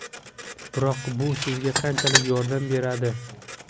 Biroq bu sizga qanchalik yordam beradi?